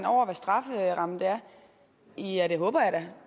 over hvad strafferammen er ja det håber jeg da